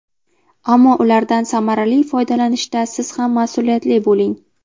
Ammo ulardan samarali foydalanishda siz ham mas’uliyatli bo‘ling.